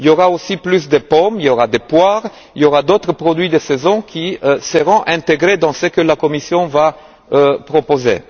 Il y aura aussi plus de pommes, il y aura des poires ainsi que d'autres produits de saison qui seront intégrés dans ce que la Commission proposera.